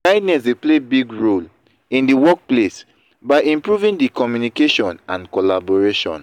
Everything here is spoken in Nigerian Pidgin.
kindness dey play big role in di workplace by improving di communication and collaboration.